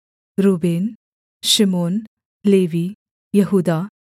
Reuben शिमोन Levi यहूदा